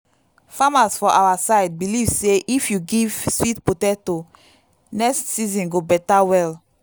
farmers for our side believe say if you give sweet potato next season go better well.